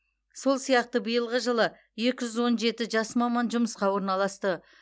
сол сияқты биылғы жылы екі жүз он жеті жас маман жұмысқа орналасты